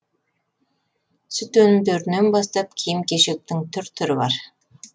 сүт өнімдерінен бастап киім кешектің түр түрі бар